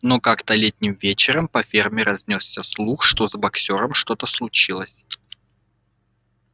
но как-то летним вечером по ферме разнёсся слух что с боксёром что-то случилось